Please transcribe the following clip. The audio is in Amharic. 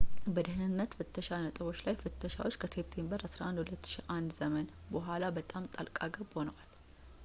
በደህነነት ፍተሻ ነጥቦች ላይ ፍተሻዎች ከሴፕቴምበር 11 2001 ዘመን በኋላ በጣም ጣልቃገብ ሆነዋል